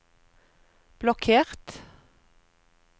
blokkert